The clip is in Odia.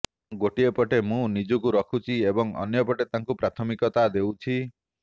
ଗୋଟିଏ ପଟେ ମୁଁ ନିଜକୁ ରଖୁଛି ଏବଂ ଅନ୍ୟପଟେ ତାଙ୍କୁ ପ୍ରାଥମିକତା ଦେଉଛି